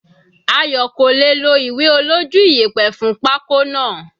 Ayo kò lè è lo ìwé olójú iyẹ̀pẹ̀ fún pako náà.